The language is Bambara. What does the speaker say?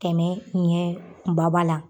Kɛmɛ ɲɛ ba ba la.